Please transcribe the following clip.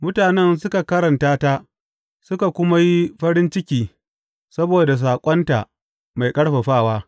Mutanen suka karantata suka kuma yi farin ciki saboda saƙonta mai ƙarfafawa.